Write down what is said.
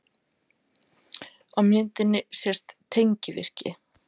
Á myndinni sést tengivirki.